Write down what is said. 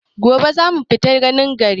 Gobe za mu fita ganin gari.